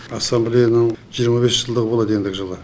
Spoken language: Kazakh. ассамблеяның жиырма бес жылдығы болады ендігі жылы